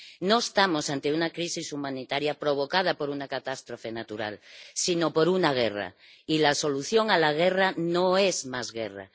No estamos ante una crisis humanitaria provocada por una catástrofe natural sino por una guerra, y la solución a la guerra no es más guerra.